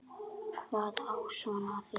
Hvað á svona að þýða